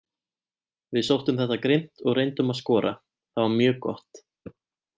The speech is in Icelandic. Við sóttum þetta grimmt og reyndum að skora, það var mjög gott.